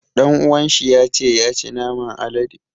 Ɗan uwan shi ya ce ya ci naman alade.